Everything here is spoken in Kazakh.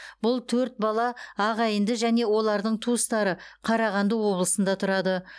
бұл төрт бала ағайынды және олардың туыстары қарағанды облысында тұрады